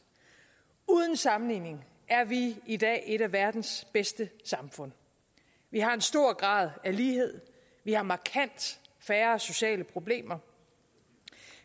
uden sammenligning er vi i dag et af verdens bedste samfund vi har en stor grad af lighed vi har markant færre sociale problemer